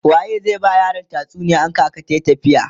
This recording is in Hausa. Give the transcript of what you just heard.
waye zai ta ba yaran tatsuniya in kaka tayi tafiya?